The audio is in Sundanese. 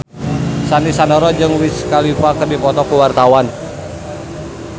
Sandy Sandoro jeung Wiz Khalifa keur dipoto ku wartawan